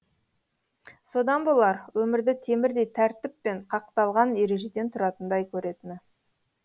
содан болар өмірді темірдей тәртіп пен қақталған ережеден тұратындай көретіні